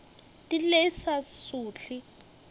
di lle e sa sohle